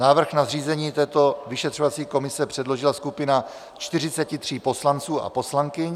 Návrh na zřízení této vyšetřovací komise předložila skupina 43 poslanců a poslankyň.